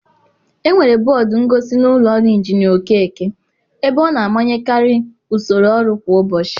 Enwere bọọdụ ngosi n'ụlọ ọrụ Injinia Okeke, ebe ọ na-amanyekarị usoro ọrụ kwa ụbọchị.